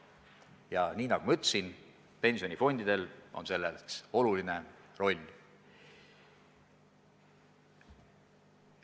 Ja nagu ma ütlesin, pensionifondidel on selles oluline roll.